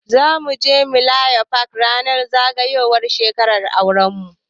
Zamu je millennium park ranar zagayowar shekarar auran mu.